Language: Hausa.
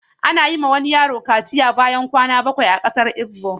Ana yiwa wani yaro kaciya bayan kwana bakwai a kasar Igbo.